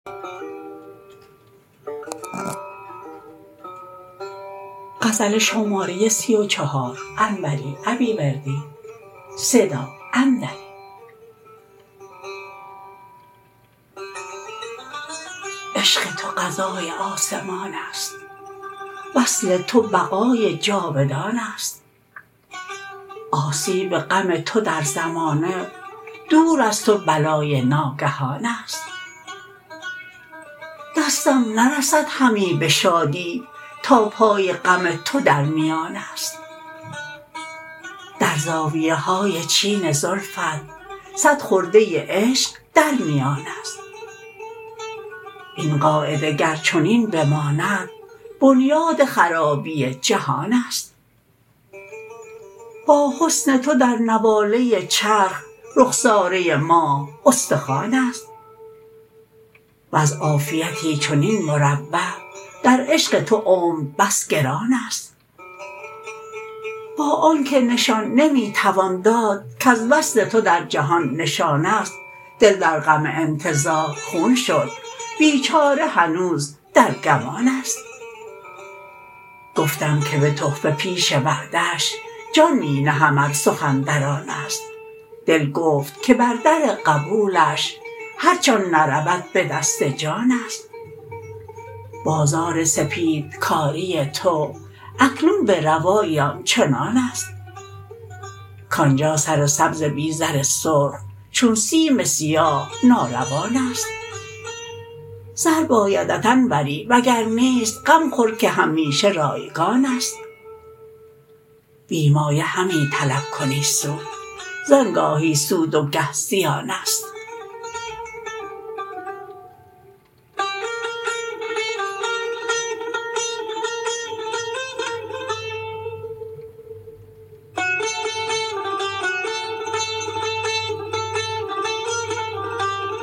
عشق تو قضای آسمانست وصل تو بقای جاودانست آسیب غم تو در زمانه دور از تو بلای ناگهانست دستم نرسد همی به شادی تا پای غم تو در میانست در زاویهای چین زلفت صد خرده عشق در میانست این قاعده گر چنین بماند بنیاد خرابی جهانست با حسن تو در نواله چرخ رخساره ماه استخوانست وز عافیتی چنین مروح در عشق تو عمر بس گرانست با آنکه نشان نمی توان داد کز وصل تو در جهان نشانست دل در غم انتظار خون شد بیچاره هنوز در گمانست گفتم که به تحفه پیش وعده اش جان می نهم ار سخن در آنست دل گفت که بر در قبولش هرچه آن نرود به دست جانست بازار سپید کاری تو اکنون به روایی آنچنانست کانجا سر سبز بی زر سرخ چون سیم سیاه ناروانست زر بایدت انوری وگر نیست غم خور که همیشه رایگانست بی مایه همی طلب کنی سود زان گاهی سود و گه زیانست